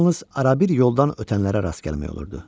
Yalnız arabir yoldan ötənlərə rast gəlmək olurdu.